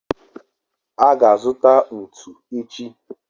a ga-azuta ntu echi